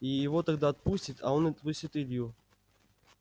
и его тогда отпустит а он отпустит илью